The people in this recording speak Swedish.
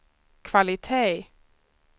kvalitet